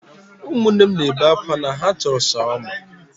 Ụmụnne m na-ebe akwa na ha chọrọ Shawama.